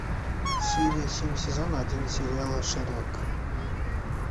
серия семь сезона один сериала шерлок